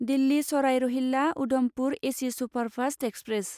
Delhi Sarai Rohilla Udhampur AC superfast express